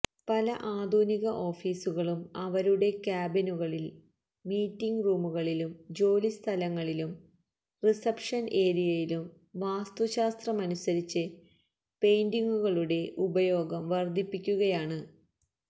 പല ആധുനിക ഓഫീസുകളും അവരുടെ കാബിനുകളിലും മീറ്റിംഗ് റൂമുകളിലും ജോലി സ്ഥലങ്ങളിലും റിസപ്ഷന് ഏരിയയിലും വാസ്തുശാസ്ത്രമനുസരിച്ച് പെയിന്റിംഗുകളുടെ ഉപയോഗം വര്ദ്ധിപ്പിക്കുകയാണ്